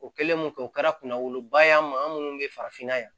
O kɛlen kɔfɛ o kɛra kunna woloba ye an ma minnu bɛ farafinna yan